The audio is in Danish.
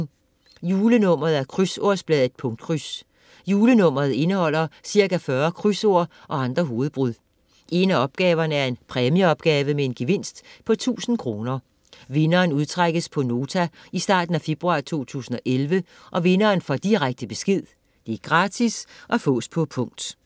Julenummer af Krydsordsbladet Punktkryds. Julenummeret indeholder ca. 40 krydsord og andre hovedbrud. En af opgaverne er en præmieopgave med en gevinst på 1000 kr. Vinderen udtrækkes på Nota i starten af februar 2011. Vinderen får direkte besked. Gratis. Fås på punkt